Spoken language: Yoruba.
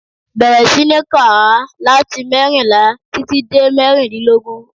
Bẹ̀rẹ̀ sí ní kà á láti mẹ́rìnlá títí dé mẹ́rìlélógún.